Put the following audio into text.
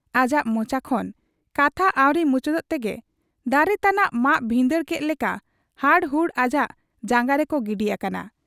ᱟᱡᱟᱜ ᱢᱚᱪᱟ ᱠᱷᱚᱱ ᱠᱟᱛᱷᱟ ᱟᱹᱣᱨᱤ ᱢᱩᱪᱟᱹᱫᱚᱜ ᱛᱮᱜᱮ ᱫᱟᱨᱮ ᱛᱟᱱᱟᱜ ᱢᱟᱜ ᱵᱷᱤᱸᱫᱟᱹᱲ ᱠᱮᱫ ᱞᱮᱠᱟ ᱦᱟᱲᱦᱩᱲ ᱟᱡᱟᱜ ᱡᱟᱝᱜᱟ ᱨᱮᱠᱚ ᱜᱤᱰᱤ ᱟᱠᱟᱱᱟ ᱾